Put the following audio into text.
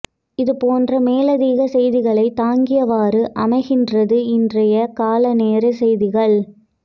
இது போன்ற மேலதிக செய்திகளை தாங்கியவாறு அமைகின்றது இன்றைய காலை நேரே செய்திகள்